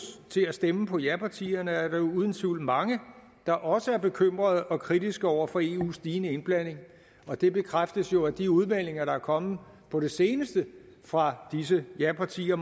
til at stemme på japartierne er der uden tvivl mange der også er bekymrede og kritiske over for eus stigende indblanding og det bekræftes jo af de udmeldinger der er kommet på det seneste fra disse japartier